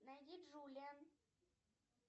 найди джулия